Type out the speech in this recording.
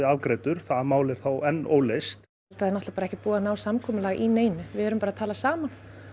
afgreiddur það mál er enn óleyst það er náttúrulega ekki búið að nást samkomulag í neinu við erum bara að tala saman